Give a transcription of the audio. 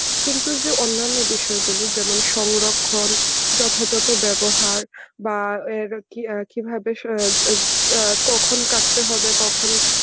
কিন্তু এই যে অন্যান্য বিষয়গুলো যেমন সংরক্ষণ, যথাযথ ব্যবহার বা এর কি কিভাবে কখন কাটতে হবে কখন